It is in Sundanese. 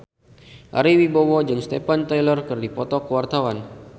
Ari Wibowo jeung Steven Tyler keur dipoto ku wartawan